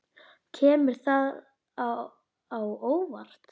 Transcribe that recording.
Kemur það á óvart?